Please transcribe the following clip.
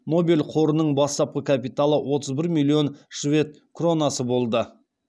нобель қорының бастапқы капиталы отыз бір миллион швед кронасы болды